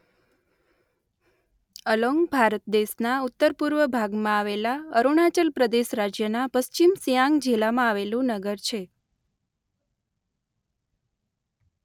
Along Bharat દેશના ઉત્તરપૂર્વ ભાગમાં આવેલા અરુણાચલ પ્રદેશ રાજ્યના પશ્ચિમ સિયાંગ જિલ્લામાં આવેલું નગર છે.